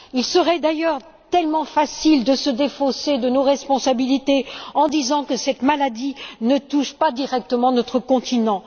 Il serait d'ailleurs tellement facile de nous défausser de nos responsabilités en disant que cette maladie ne touche pas directement notre continent.